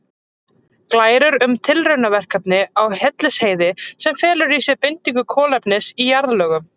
Glærur um tilraunaverkefni á Hellisheiði sem felur í sér bindingu kolefnis í jarðlögum.